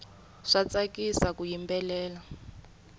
swa tsakisa ku yimbelela